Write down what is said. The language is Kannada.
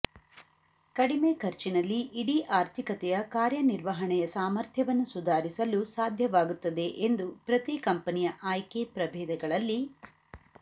ಕಡಿಮೆ ಖರ್ಚಿನಲ್ಲಿ ಇಡೀ ಆರ್ಥಿಕತೆಯ ಕಾರ್ಯನಿರ್ವಹಣೆಯ ಸಾಮರ್ಥ್ಯವನ್ನು ಸುಧಾರಿಸಲು ಸಾಧ್ಯವಾಗುತ್ತದೆ ಎಂದು ಪ್ರತಿ ಕಂಪನಿಯ ಆಯ್ಕೆ ಪ್ರಭೇದಗಳಲ್ಲಿ